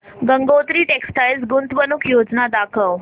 Gangotri textile गुंतवणूक योजना दाखव